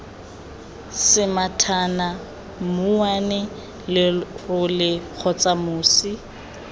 semathana mouwane lerole kgotsa mosi